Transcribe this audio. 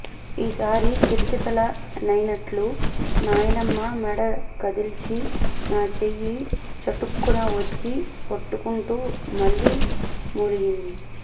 ఈసారి కితకితలైనట్లు నాయనమ్మ మెడ కదిల్చి నా చెయ్యి చటుక్కున ఒత్తి పట్టుకుంటూ మళ్లీ మూలిగింది